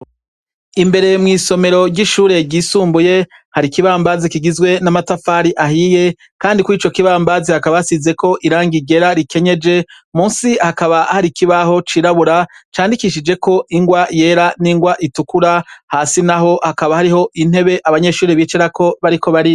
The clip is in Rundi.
Imbere mw'isomero ry'ishure ry'isumbuye, hari ikibambazi kigizwe n'amatafari ahiye, kandi kuri ico kibambazi hakaba hasizeko irangi ryera rikenyeje. Munsi hakaba hari ikibaho cirabura candikishijweko ingwa yera n'ingwa itukura. Hasi naho hakaba hariho intebe abanyeshure bicarako bariko bariga.